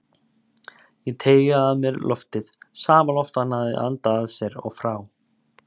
Ég teygaði að mér loftið, sama loft og hann hafði andað að sér og frá.